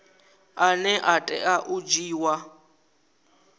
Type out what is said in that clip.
ane a tea u dzhiiwa